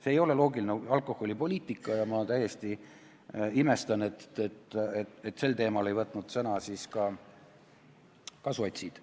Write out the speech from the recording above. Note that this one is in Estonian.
See ei ole loogiline alkoholipoliitika ja ma täiesti imestan, et sel teemal ei võtnud sõna ka sotsid.